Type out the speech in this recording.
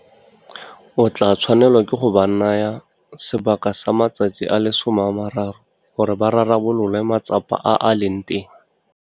O tla tshwanelwa ke go ba naya sebaka sa matsatsi a le 30 gore ba rarabolole matsapa a a leng teng.